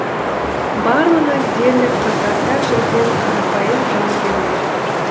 барлығы дерлік қатарда жүрген қарапайым жауынгерлер